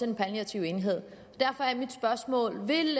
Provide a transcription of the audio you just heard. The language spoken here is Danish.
den palliative enhed derfor er mit spørgsmål vil